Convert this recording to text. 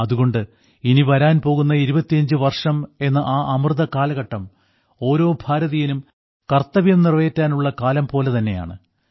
അതുകൊണ്ട് ഇനി വരാൻ പോകുന്ന 25 വർഷം എന്ന ആ അമൃതകാലഘട്ടം ഓരോ ഭാരതീയനും കർത്തവ്യം നിറവേറ്റാനുള്ള കാലം പോലെ തന്നെയാണ്